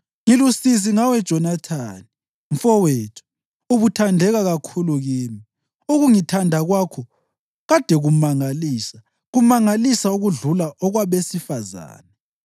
Ngilusizi ngawe Jonathani, mfowethu; ubuthandeka kakhulu kimi. Ukungithanda kwakho kade kumangalisa, kumangalisa okudlula okwabesifazane.